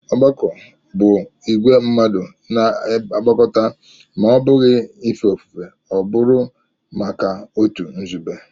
Ọgbakọ bụ ìgwè mmadụ na-agbakọta; ma ọ́ bụghị ife ofufe ọ bụru maka otu nzube